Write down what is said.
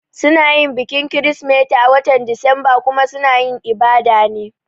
Suna yin bikin kirisimeti a watan Disamba kuma suna yin ibada ne